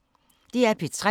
DR P3